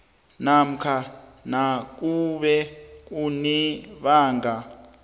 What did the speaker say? namkha nakube kunebanga